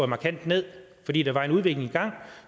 markant ned fordi der var en udvikling i gang